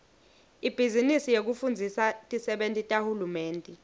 ibhizinisi yekufundzisa tisebenti tahulumende